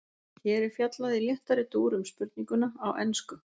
Hér er fjallað í léttari dúr um spurninguna, á ensku.